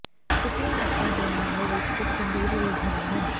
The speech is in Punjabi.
ਟੁੱਟੀਆਂ ਨੱਕਾਂ ਦੇ ਮਾਮਲੇ ਵਿੱਚ ਕੁਝ ਗੰਭੀਰ ਉਲਝਣਾਂ ਹਨ